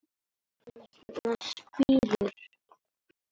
En hvers vegna spírur?